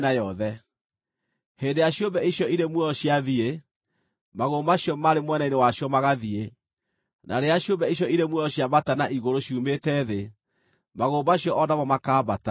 Hĩndĩ ĩrĩa ciũmbe icio irĩ muoyo ciathiĩ, magũrũ macio maarĩ mwena-inĩ wacio magathiĩ; na rĩrĩa ciũmbe icio irĩ muoyo ciambata na igũrũ ciumĩte thĩ, magũrũ macio o namo makaambata.